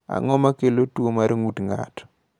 Ang’o ma kelo tuwo mar ng’ut ng’ato?